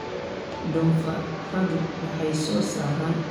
Doofaarradu waxay soo saaraan baruur loo isticmaali karo karinta.